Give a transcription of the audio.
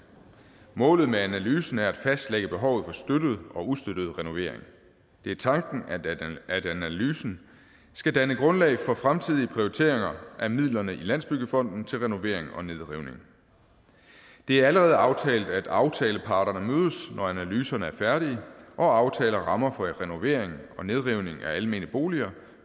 målet med analysen er at fastlægge behovet for støttede og ustøttede renoveringer det er tanken at analysen skal danne grundlag for fremtidige prioriteringer af midlerne i landsbyggefonden til renovering og nedrivning det er allerede aftalt at aftaleparterne mødes når analyserne er færdige og aftaler rammer for renoveringer og nedrivning af almene boliger